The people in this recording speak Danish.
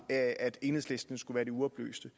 af at enhedslisten skulle være de uoplyste